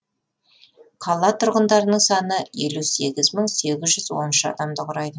қала тұрғындарының саны елу сегіз мың сегіз жүз он үш адамды құрайды